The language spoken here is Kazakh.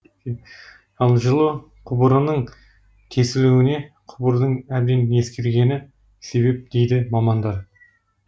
ал жылу құбырынынң тесілуіне құбырдың әбден ескіргені себеп дейді мамандар